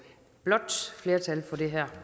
det er